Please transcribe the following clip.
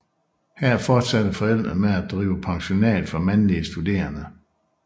Her fortsatte forældrene med at drive pensionat for mandlige studerende